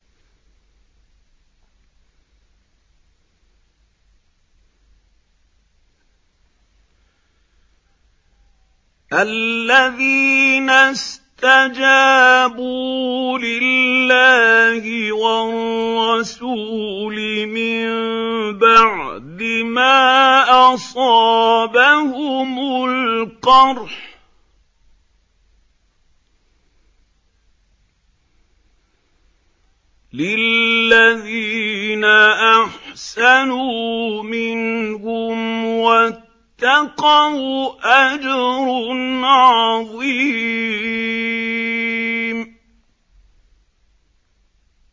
الَّذِينَ اسْتَجَابُوا لِلَّهِ وَالرَّسُولِ مِن بَعْدِ مَا أَصَابَهُمُ الْقَرْحُ ۚ لِلَّذِينَ أَحْسَنُوا مِنْهُمْ وَاتَّقَوْا أَجْرٌ عَظِيمٌ